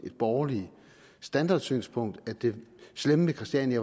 et borgerligt standardsynspunkt at det slemme ved christiania